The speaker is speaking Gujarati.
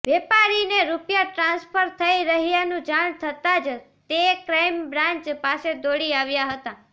વેપારીને રૂપિયા ટ્રાન્સફર થઈ રહ્યાનું જાણ થતા જ તે ક્રાઈમ બ્રાન્ચ પાસે દોડી આવ્યા હતા